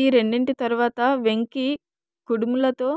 ఈ రెండింటి తరవాత వెంకీ కుడుములతో